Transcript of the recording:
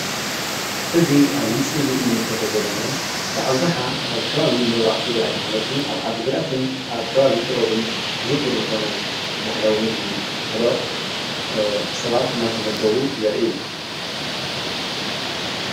እዚ ኣብዚ ምስሊ እዚ ንምልከቶ ዘለና ብኣብዝሓ ኣብ ከባቢ ምብራቕ ትግራይ ማለት ውን ኣብ ዓዲግራትን ኣብ ከባቢ ኢሮብን ዝውቱር ዝኾነ ባህላዊ ምግቢ ጥሕሎ ሰባት እናተመገቡ የርኢ፡፡